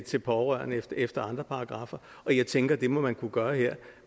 til pårørende efter andre paragraffer og jeg tænker at det må man kunne gøre her